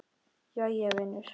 Jæja vinur.